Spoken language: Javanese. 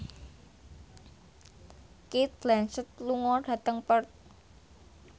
Cate Blanchett lunga dhateng Perth